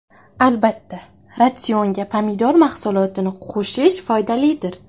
Albatta, ratsionga pomidor mahsulotini qo‘shish foydalidir.